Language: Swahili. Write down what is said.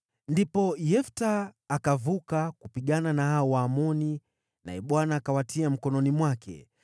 Ndipo Yefta akavuka kupigana na hao Waamoni, naye Bwana akawatia mkononi mwake.